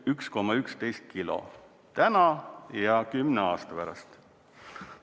1,11 kilo täna ja 10 aasta pärast.